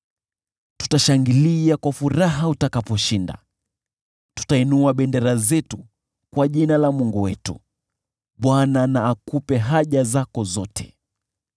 Tutashangilia kwa furaha utakaposhinda, tutainua bendera zetu kwa jina la Mungu wetu. Bwana na akupe haja zako zote.